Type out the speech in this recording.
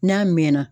N'a mɛɛnna